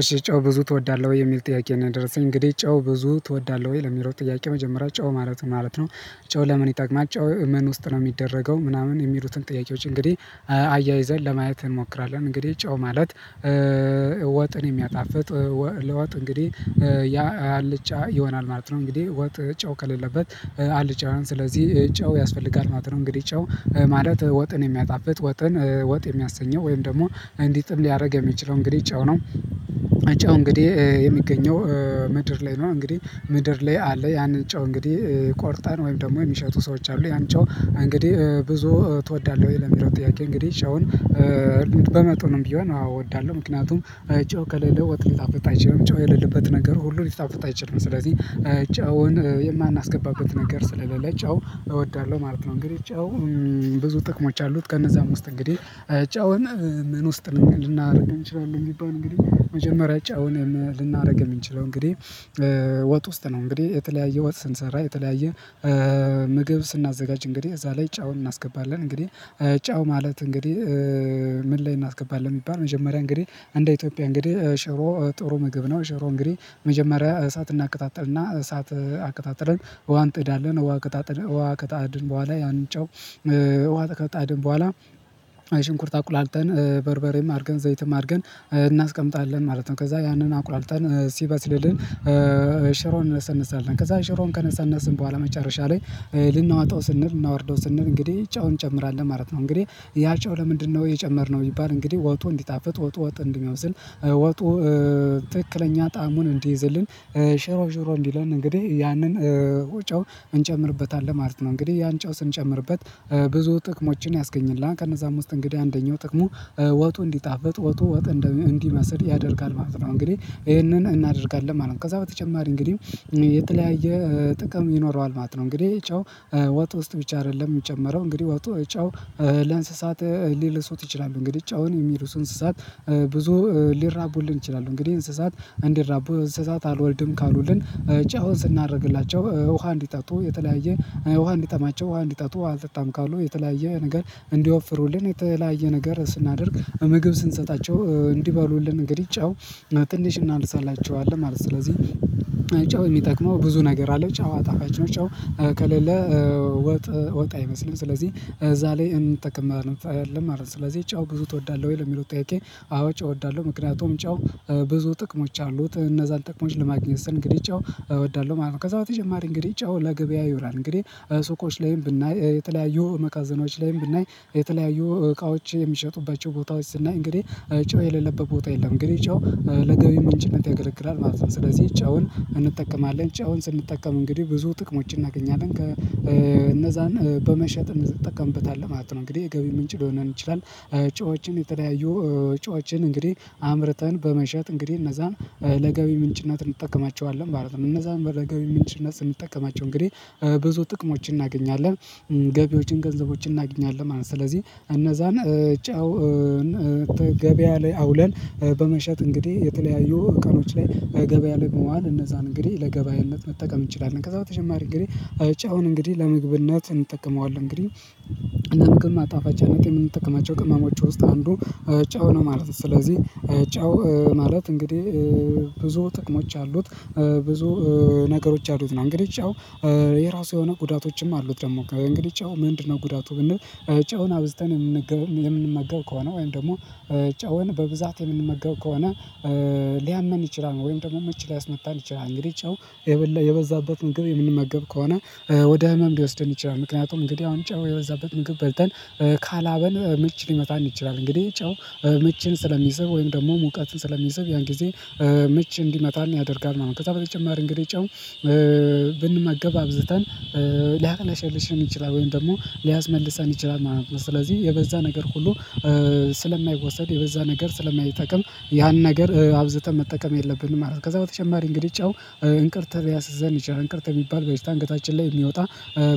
እሺ ጨው ብዙ ትወዳለህ ወይ? የሚል ጥያቄ ነው የደረሰኝ። እንግዲህ ጨው ብዙ ትወዳለህ ወይ ለሚለው ጥያ። መጀመሪያ ጨው ማለት ነው ማለት ነው? ጨው ለምን ይጠቅማል? ጨው ምን ውስጥ ነው የሚደረገው? ምናምን የሚሉትን ጥያቄዎች እንግዲህ አያይዘን ለማየት እንሞክራለን። እንግዲህ ጨው ማለት? እ ወጥን የሚያጣፍጥ። ለወጥ እንግዲህ ያ አልጫ ይሆናል ማለት ነው። እንግዲህ ወጥ ጨው ከሌለበት አልጫ ስለዚህ ጨው ያስፈልጋል ማለት ነው። እንግዲህ ጨው ማለት ወጥን የሚያጣፍጥ፣ ወጥን ወጥ የሚያሰኘው፣ ወይም ደግሞ እንዲጥም ሊያደርግ የሚችለው እንግዲህ ጨው ነው። ጨው እንግዲህ የሚገኘው ምድር ላይ ነው። እንግዲህ ምድር ላይ አለ። ያንን ጨው እንግዲህ ቆርጣን ወይም ደግሞ የሚሸጡ ሰዎች አሉ። ያን ጨው እንግዲህ ብዙ ትወዳለህ ወይ? ለሚለው ጥያቄ እንግዲህ ጨውን እ በመጠኑም ቢሆን አዎ! እወዳለሁ። ምክንያቱም ጨው ከሌለ ወጥ ሊጣፍጥ አይችልም ጨው የሌለበት ነገር ሁሉ ሊጣፍጥ አይችልም። ስለዚህ ጨውን እ የማናስገባበት ነገር ስለሌለ ጨው እወዳለሁ። ማለት ነው እንግዲህ ጨው ብዙ ጥቅሞች አሉት። ከነዛም ውስት እንግዲህ ጨውን ምን ውስጥ ልናደርግ እንችላለን የሚባል እንግዲህ መጀመሪያ ጨውን ልናደርግ የምንችለው እንግዲህ ወጥ ውስጥ ነው እንግዲህ የተለያየ ወጥ ስንሰራ የተለያየ ምግብ ስናዘጋጅ እንግዲህ እዛ ላይ ጨውን እናስገባለን። እንግዲህ ጨው ማለት? እንግዲህ ምን ላይ እናስገባለን? ቢባል መጀመሪያ እንግዲህ እንደ ኢትዮጵያ እንግዲህ ሸሮ ጥሩ ምግብ ነው። ሸሮ እንግዲህ መጀመሪያ እሳት እናቀጣጥልና፣ እሳት አቀጣጥለን፣ ውሃ እንጥዳለን፣ ውሃ ከጣጥን ውሃ ቀጣድን በኋላ ያንን ጨው ውሃ ቀጣድን በኋላ፣ ሽንኩርት አቁላልተን፣ በርበሬም አድርገን፣ ዘይትም አድርገን፣ እናስቀምጣለን ማለት ነው። ከዛ ያንን አቁላልጠን ሲበስልልን ሽሮን እንነሰንሳለን ከዛ ሽሮን ከነሰነስን በኋላ መጨረሻ ላይ እ ልናወጣው ስንል፤ ልናወርደው ስንል እንግዲህ ጨውን እንጨምራለን ማለት ነው። እንግዲህ ያ ጨው ለምንድነው የጨመርነው? ቢባል እንግዲህ ወጡ እንዲጣፍጥ፣ ወጡ ወጥ እንዲመስል፣ ወጡ፣ ትክክለኛ ጣዕሙን እንዲይዝልን። እ ሽሮ ሽሮ እንዲለን እንግዲህ ያንን ጨው እንጨምርበታለን ማለት ነው። እንግዲህ ያን ጨው ስንጨምርበት ብዙ ጥቅሞችን ያስገኝልናል። ከነዛም ውስጥ እንግዲህ አንደኛው ጥቅሙ፣ ወጡ እንዲጣፍጥ ወጡ ወጥ እንዲመስል ያደርጋል ማለት ነው። እንግዲህ ይሄንን እናደርጋለን ማለት ነ። ከዛ በተጨማሪ እንግዲህ እ የተለያየ ጥቅም ይኖረዋል ማለት ነው። እንግዲህ ጨው ወጥ ውስጥ ብቻ አይደለም። የሚጨምረው እንግዲህ ወጡ ጨው ለእንስሳት ሊልሱት ይችላሉ። እንግዲህ ጨውን የሚልሱ እንስሳት ብዙ ሊራቡልን ይችላሉ፤ እንግዲህ እንስሳት እንዲራቡ፤ እንስሳት አልወልድም ካሉልን፤ ጨውን ስናደርግላቸው ውሃ እንዲጠጡ፣ የተለያየ ውሃ እንዲጠማቸው፣ ውሃ እንዲጠጡ፣ አልጠጣም ካሉ የተለያየ ነገር እንዲወፍሩልን፣ የተለያየ ነገር ስናደርግ ምግብ ስንሰጣቸው እንዲባሉልን፣ እንግዲህ ጨው ትንሽ እናልስላቸዋለን ማለት ነው። ስለዚህ ሽሮን እንነሳልናል፣ ከዛ ሽሮን ከነሰነስን በኋላ መጨረሻ ላይ እ። ከሌለ ወጥ ወጥ አይመስልም። ስለዚህ እዛ ላይ እንጠቀማለን ማለት ነው። ስለዚህ ጨው ብዙ ትወዳለሁ ወይ? ለሚለው ጥያቄ አዎ! ጨው እወዳለሁ ምክንያቱም ጨው ብዙ ጥቅሞች አሉት። እነዛን ጥቅሞች ለማግኘት ስል እንግዲህ ጨው እወዳለሁ ማለት ነው። ከዛ በተጨማሪ እንግዲህ ጨው ለገበያ ይሆናል። እንግዲህ ሱቆች፣ ላይ ብናይ የተለያዩ መካዘናዎች፣ ላይም ብናይ የተለያዩ እቃዎች የሚሸጡባቸው፣ ቦታዎች እና እንግዲህ ጨው የሌለበት ቦታ የለም። እንግዲህ ጨው እ ለገቢ ምንጭነት ያገለግላል ማለት ነው። ስለዚህ ጨውን እንጠቀማለን። ጨውን ስንጠቀም እንግዲህ ብዙ ጥቅሞችን እናገኛለን። እነዛን በመሸጥ እንድትጠቀምበት አለ ማለት ነው። እንግዲህ የገቢ ምንጭ ሊሆን ይችላል። ጨዎችን የተለያዩ ጨዎችን እንግዲህ አምርተን በመሸጥ እንግዲህ እነዛን ለገቢ ምንጭነት እንጠቀማቸዋለ። እነዛን ለገቢ ምንጭነት ስንጠቀማቸው እንግዲህ ብዙ ጥቅሞችን እናገኛለን። ገቢዎችን፣ ገንዘቦችን፣ እናገኛለን ማለት ነው። ስለዚህ እነዛን ጨው ገበያ ላይ አውለን በመሸጥ እንግዲህ የተለያዩ ቀኖች ላይ ገበያ ላይ በመዋል እነዛን እንግዲህ ለገበያነት መጠቀም እንችላለን። ከዛ በተጨማሪ እንግዲህ ጨውን እንግዲህ ለምግብነት እንጠቀመዋለን። እንግዲህ ለምግብ ማጣፋጫነት የምንጠቀማቸው ቅመሞች ውስጥ አንዱ ጨው ነው ማለት ነው። ስለዚህ እ ጨው ማለት እንግዲህ ብዙ ጥቅሞች አሉት። ብዙ ነገሮች አሉት። እንግዲህ ጨው የራሱ የሆነ ጉዳቶችም አሉት። ደግሞ ከእንግዲህ ጨው ምንድነው ጉዳ? ብንል ጨውን አብዝተን የምንመገብ ከሆነ ወይም ደግሞ ጨውን በብዛት የምንመገብ ከሆነ ሊያመን ይችላል ወይም ደግሞ ምች ሊያስመጣን ይችላል እንግዲህ ጨው የበዛበትን ምግብ የምንመገብ ከሆነ ወደ ህመም ሊወስደን ይችላል። ምክንያቱም እንግዲህ አሁን ጨው የበዛበት ምግብ በልተን ካላበን ምች ሊመታን ይችላል። እንግዲህ ጨው ምችን ስለሚስብ ወይም ደግሞ ሙቀትን ስለሚስብ ያን ጊዜ ምች እንዲመታን ያደርጋል ማለት ነው። ከዛ በተጨማሪ እንግዲህ ጨው እ ብንመገብ አብዝተን ሊያቀለሽልሽን ይችላል። ወይም ደግሞ ሊያስመልሰን ይችላል ማለት ነው። ስለዚህ የበዛ ነገር ሁሉ ስለማይወሰድ፣ የበዛ ነገር ስለማይተቀል፣ ያን ነገር አብዝተን መጠቀም የለብንም ማለት ነው። ከዛ በተጨማሪ እንግዲህ ጨው እንቅርተህ ሊያሲዘን ይችላል። እንቅርት የሚባል በሽታ እንገታችን ላይ የሚወጣ